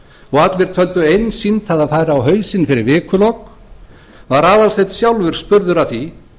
og allir töldu einsýnt að það færi á hausinn fyrir vikulok var aðalsteinn sjálfur spurður að því